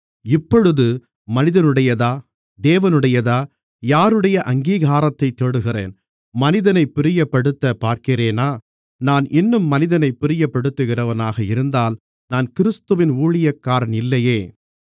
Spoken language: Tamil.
இப்பொழுது மனிதனுடையதா தேவனுடையதா யாருடைய அங்கீகாரத்தைத் தேடுகிறேன் மனிதனைப் பிரியப்படுத்தப் பார்க்கிறேனா நான் இன்னும் மனிதனைப் பிரியப்படுத்துகிறவனாக இருந்தால் நான் கிறிஸ்துவின் ஊழியக்காரன் இல்லையே